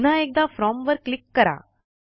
पुन्हा एकदा फ्रॉम वर क्लिक करा